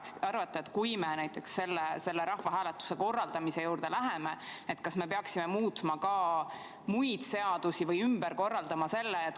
Kas te arvate, et kui me näiteks selle rahvahääletuse korraldamise juurde läheme, kas me peaksime muutma ka muid seadusi või midagi ümber korraldama?